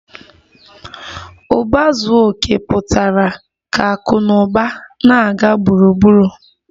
Uba zuo oke pụtara ka akụ na ụba na-aga gburugburu